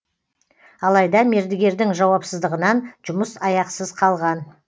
алайда мердігердің жауапсыздығынан жұмыс аяқсыз қалған